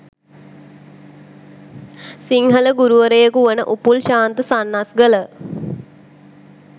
සිංහල ගුරුවරයකු වන උපුල් ශාන්ත සන්නස්ගල